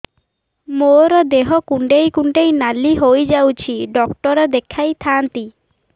ମୋର ଦେହ କୁଣ୍ଡେଇ କୁଣ୍ଡେଇ ନାଲି ହୋଇଯାଉଛି ଡକ୍ଟର ଦେଖାଇ ଥାଆନ୍ତି